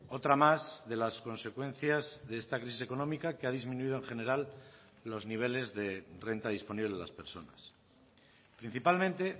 otra más de las consecuencias de esta crisis económica que ha disminuido en general los niveles de renta disponible de las personas principalmente